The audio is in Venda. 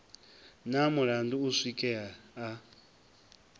na mulandu u swikela a